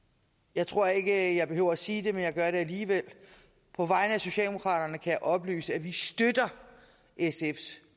jeg tror ikke jeg behøver at sige det men jeg gør det alligevel på vegne af socialdemokraterne kan jeg oplyse at vi støtter sfs